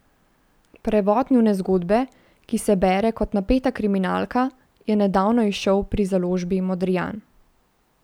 Prevod njune zgodbe, ki se bere kot napeta kriminalka, je nedavno izšel pri založbi Modrijan.